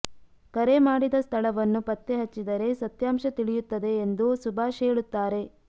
ಕರೆ ಮಾಡಿದ ಸ್ಥಳವನ್ನು ಪತ್ತೆಹಚ್ಚಿದರೆ ಸತ್ಯಾಂಶ ತಿಳಿಯುತ್ತದೆ ಎಂದು ಸುಭಾಷ್ ಹೇಳುತ್ತಾರೆ